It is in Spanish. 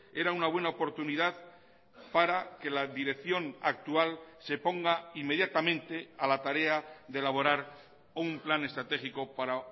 era una buena oportunidad para que la dirección actual se ponga inmediatamente a la tarea de elaborar un plan estratégico para